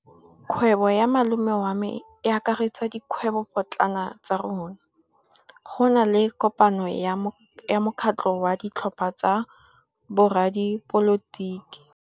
Kgwêbô ya malome wa me e akaretsa dikgwêbôpotlana tsa rona. Go na le kopanô ya mokgatlhô wa ditlhopha tsa boradipolotiki.